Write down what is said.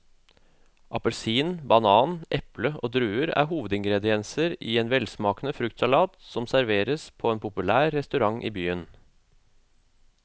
Appelsin, banan, eple og druer er hovedingredienser i en velsmakende fruktsalat som serveres på en populær restaurant i byen.